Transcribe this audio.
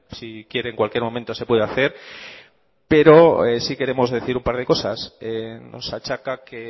si quiere en cualquier momento se puede hacer pero sí queremos decir un par de cosas nos achaca que